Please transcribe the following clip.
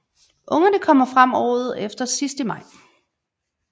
Ungerne kommer frem året efter sidst i maj